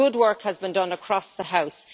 So good work has been done across the House.